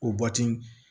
O